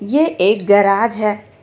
यह एक गेराज है.